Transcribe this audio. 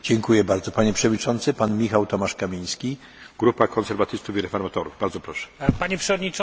Panie przewodniczący!